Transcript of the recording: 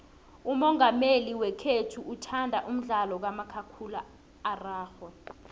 umongameli wekhethu uthanda umdlalo kamakhakhulararhwe